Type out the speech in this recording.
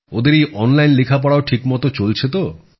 ওদের এই অনলাইন লেখাপড়াও ঠিকমত চলছে তো